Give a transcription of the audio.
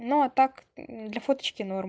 но а так для фоточки норм